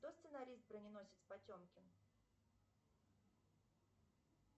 кто сценарист броненосец потемкин